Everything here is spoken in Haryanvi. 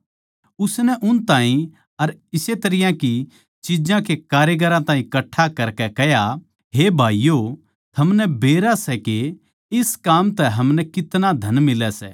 उसनै उन ताहीं अर इस्से तरियां की चिज्जां के कारिगरां ताहीं कट्ठा करकै कह्या हे भाईयो थमनै बेरा सै के इस काम तै हमनै कितना धन मिलै सै